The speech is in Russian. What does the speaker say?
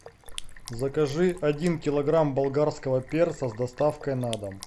закажи один килограмм болгарского перца с доставкой на дом